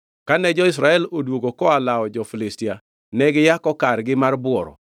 Kane jo-Israel odwogo koa lawo jo-Filistia, ne giyako kargi mar bworo.